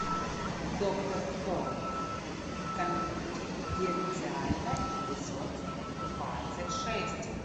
доктор кто конфиденциально эпизод двадцать шесть